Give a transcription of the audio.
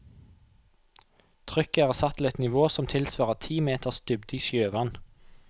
Trykket er satt til et nivå som tilsvarer ti meters dybde i sjøvann.